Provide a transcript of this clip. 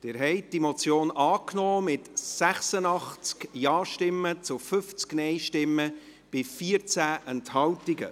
Sie haben die Motion angenommen, mit 86 Ja- gegen 50 Nein-Stimmen bei 14 Enthaltungen.